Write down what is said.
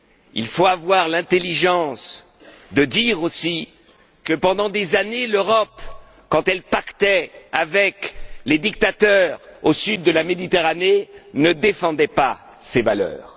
Il faut avoir l'intelligence de dire aussi que, pendant des années, l'Europe, quand elle pactisait avec les dictateurs au sud de la Méditerranée, ne défendait pas ces valeurs.